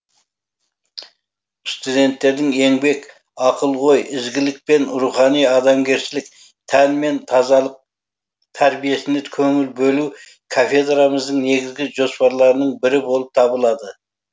студенттердің еңбек ақыл ой ізгілік пен рухани адамгершілік тән мен тазалық тәрбиесіне көңіл бөлу кафедрамыздың негізгі жоспарларының бірі болып табылады